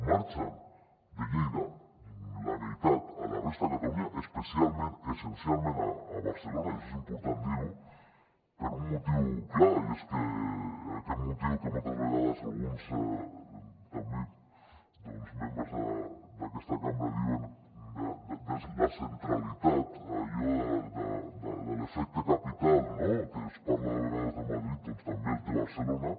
marxen de lleida la meitat a la resta de catalunya especialment essencialment a barcelona i això és important dir ho per un motiu clar i és aquest motiu que moltes vegades alguns també membres d’aquesta cambra diuen de la centralitat allò de l’efecte capital no que es parla a vegades de madrid doncs també el té barcelona